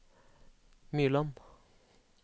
Myrland